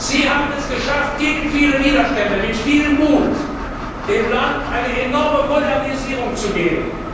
Sie haben es geschafft, gegen viele Widerstände und mit viel Mut dem Land einen enormen Modernisierungsschub zu geben.